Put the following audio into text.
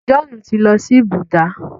John ti ló sìn Buddha.